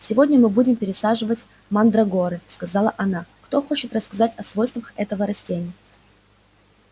сегодня мы будем пересаживать мандрагоры сказала она кто хочет рассказать о свойствах этого растения